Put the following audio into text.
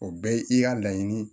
O bɛɛ ye i y'a laɲini